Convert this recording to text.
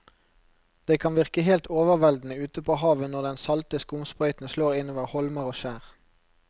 Det kan virke helt overveldende ute ved havet når den salte skumsprøyten slår innover holmer og skjær.